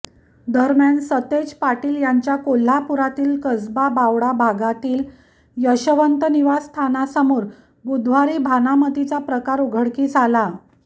दरम्यान सतेज पाटील यांच्या कोल्हापुरातील कसबा बावडा भागातील यशवंत निवासस्थानासमोर बुधवारी भानामतीचा प्रकार उघडकीस आला